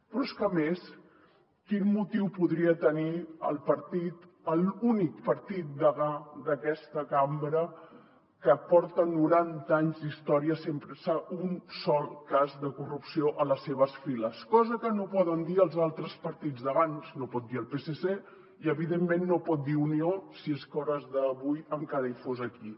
però és que a més quin motiu podria tenir el partit l’únic partit degà d’aquesta cambra que porta noranta anys d’història sense un sol cas de corrupció a les seves files cosa que no poden dir els altres partits d’abans no ho pot dir el psc i evidentment no ho pot dir unió si és que a hores d’ara encara fos aquí